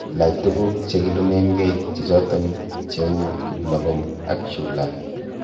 Ilach tuguk chekilumengee che choton cheu kiplogom ak chulaa.